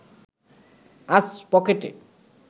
আজ পকেটে